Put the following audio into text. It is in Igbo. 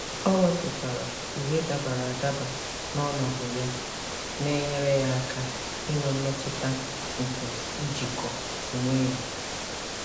O wepụtara uwe dabara adaba na ọnọdụ ya, na-enyere ya aka inwe mmetụta nke ijikọ onwe ya.